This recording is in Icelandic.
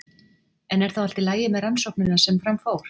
En er þá allt í lagi með rannsóknina sem fram fór?